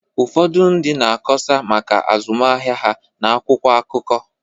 Ụfọdụ ndị na-akọsa maka azụmahịa ha n’akwụkwọ akụkọ